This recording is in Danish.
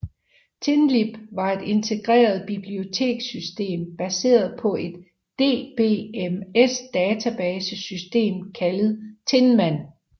Tinlib var et integreret bibliotekssystem baseret på et DBMS database system kaldet Tinman